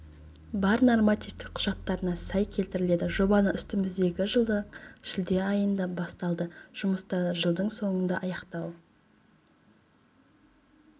бар нормативтік құжаттарына сай келтіріледі жобаны үстіміздегі жылдың шілде айыында басталды жұмыстарды жылдың соңында аяқтау